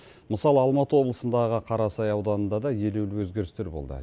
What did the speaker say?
мысалы алматы облысындағы қарасай ауданында да елеулі өзгерістер болды